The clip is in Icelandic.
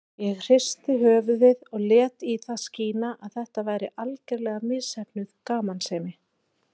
Ég hristi höfuðið og lét í það skína að þetta væri algerlega misheppnuð gamansemi.